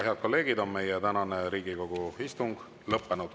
Head kolleegid, meie tänane Riigikogu istung on lõppenud.